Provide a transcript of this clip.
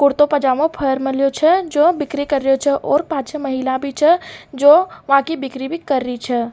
कुर्तो पजामो पहर मेल्यो छे जो बिक्री कर रहयो छे और पांच छः महिला भी छे जो बाकि बिक्री भी कर रही छे।